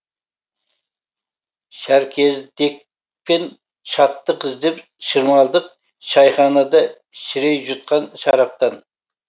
шәркездікпен шаттық іздеп шырмалдық шайханада шірей жұтқан шараптан